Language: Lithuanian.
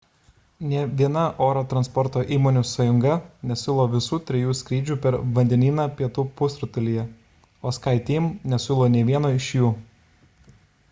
nė viena oro transporto įmonių sąjunga nesiūlo visų trijų skrydžių per vandenyną pietų pusrutulyje o skyteam nesiūlo nė vieno iš jų